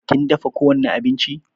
Kin dafa ko wani abinci?